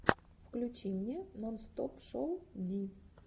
включи мне нонстопшоу ди